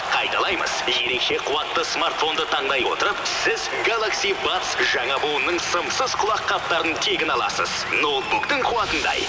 қайталаймыз ерекше қуатты смартфонды таңдай отырып сіз галакси бадс жаңа буынның сымсыз құлаққаптарын тегін аласыз ноутбуктың қуатындай